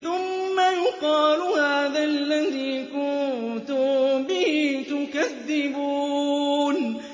ثُمَّ يُقَالُ هَٰذَا الَّذِي كُنتُم بِهِ تُكَذِّبُونَ